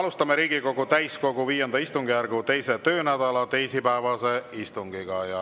Alustame Riigikogu täiskogu V istungjärgu 2. töönädala teisipäevast istungit.